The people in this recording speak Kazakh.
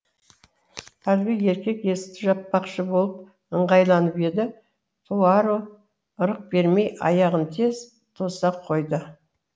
әлгі еркек есікті жаппақшы болып ыңғайланып еді пуаро ырық бермей аяғын тез тоса қойды